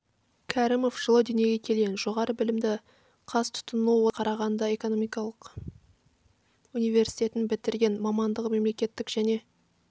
кәрімов жылы дүниеге келген жоғары білімді қазтұтыну одағы қарағанды экономикалық университетін бітірген мамандығы мемлекеттік және